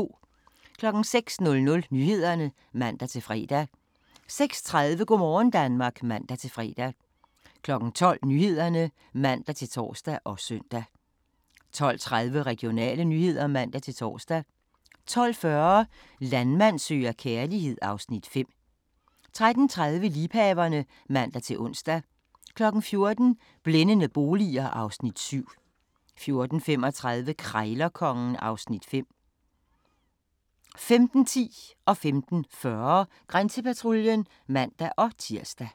06:00: Nyhederne (man-fre) 06:30: Go' morgen Danmark (man-fre) 12:00: Nyhederne (man-tor og søn) 12:30: Regionale nyheder (man-tor) 12:40: Landmand søger kærlighed (Afs. 5) 13:30: Liebhaverne (man-ons) 14:00: Blændende boliger (Afs. 7) 14:35: Krejlerkongen (Afs. 5) 15:10: Grænsepatruljen (man-tir) 15:40: Grænsepatruljen (man-tir)